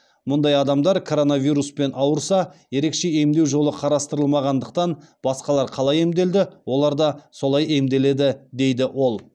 мұндай адамдар коронавируспен ауырса ерекше емдеу жолы қарастырылмағандықтан басқалар қалай емделеді олар да солай емделеді дейді ол